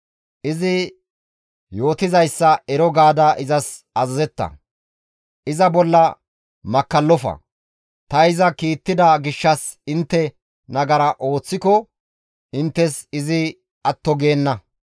Izi yootizayssa ero gaada izas azazetta; iza bolla makkallofa; ta iza kiittida gishshas intte nagara ooththiko inttes izi atto geenna.